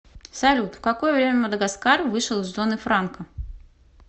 салют в какое время мадагаскар вышел из зоны франка